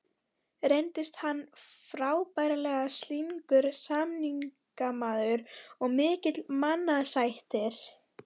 Reyndist hann frábærlega slyngur samningamaður og mikill mannasættir.